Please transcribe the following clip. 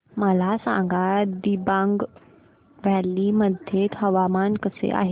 मला सांगा दिबांग व्हॅली मध्ये हवामान कसे आहे